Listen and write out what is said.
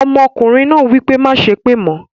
Ọmọkùnrin náà wípé "Má á sépè mọ"